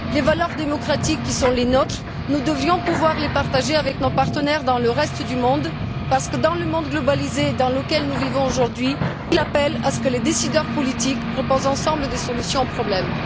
Les valeurs démocratiques qui sont les nôtres, nous devrions pouvoir les partager avec nos partenaires dans le reste du monde, parce que le monde globalisé dans lequel nous vivons aujourd'hui appelle à ce que les décideurs politiques proposent ensemble des solutions aux problèmes.